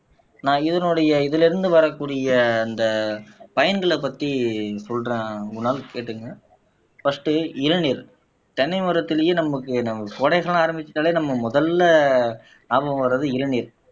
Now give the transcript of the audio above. நான் இதனுடைய இதுல இருந்து வரக்கூடிய அந்த பயன்களைப் பத்தி சொல்றேன் குணால் கேட்டுக்கங்க பஸ்டு இளநீர் தென்னை மரத்திலேயே நமக்கு நம்ம கோடை காலம் ஆரம்பிச்சுட்டாலே நம்ம முதல்ல ஞாபகம் வர்றது இளநீர்